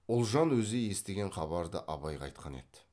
ұлжан өзі естіген хабарды абайға айтқан еді